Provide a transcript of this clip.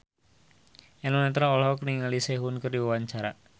Eno Netral olohok ningali Sehun keur diwawancara